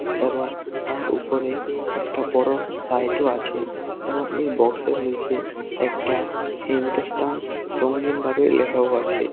এবং তার উপরে একটা বড় লাইটও -ও আছে এবং এই বক্সের -এর নীচে একটা হিন্দুস্তান রঙ্গিনভাবে লেখাও আছে।